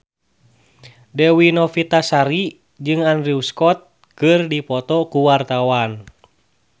Dewi Novitasari jeung Andrew Scott keur dipoto ku wartawan